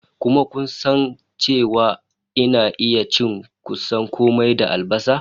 Kuma kun san cewa ina iya cin kusan kome da albasa?